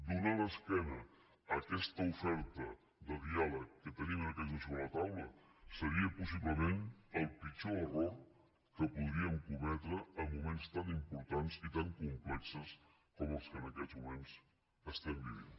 donar l’esquena a aquesta oferta de diàleg que te·nim en aquests moments sobre la taula seria possible·ment el pitjor error que podríem cometre en moments tan importants i tan complexos com els que en aquests moments estem vivint